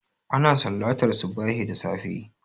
Ana sallantar subahi da safe